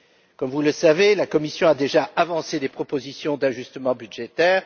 Comme vous le savez, la Commission a déjà avancé des propositions d'ajustement budgétaire.